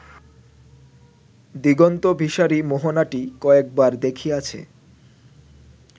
দিগন্তবিসারী মোহনাটি কয়েকবার দেখিয়াছে